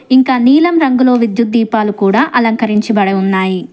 ఇంక నీలం రంగులో విద్యుత్ దీపాలు కూడా అలంకరించబడి ఉన్నాయి.